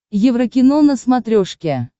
еврокино на смотрешке